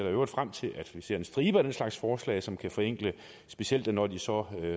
i øvrigt frem til at vi ser en stribe af den slags forslag som kan forenkle specielt når de så